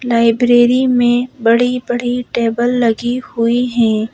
Library में बड़ी-बड़ी table लगी हुई हैं।